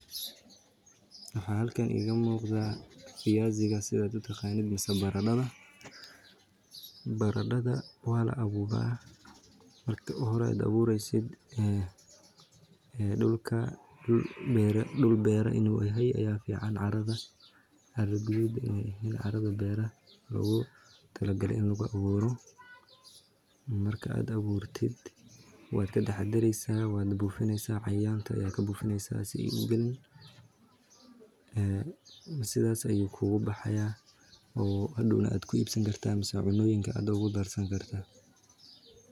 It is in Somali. Waxaa halkaan iga muqdaa viaziga sidaad utaqaanid misee baradada. Baradada waala abuuraa marki uhoro aad abureysid dulka dul beera inuu yahay ayaa fiican carada, cara guduud inaay eheen carada beeraha logu tala galay in lagu abuuro, marka aad abuurtid waad ka taxadareysaa waana buufineysaa cayayanka ayaa kabuufineysaa sii ay ugalin, sidaas ayuu kugubaxaayaa oo hadowna aad ku ibsan kartaa misee cunoyinka aad ogu darsan kartaa.